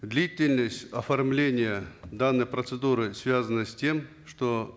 длительность оформления данной процедуры связана с тем что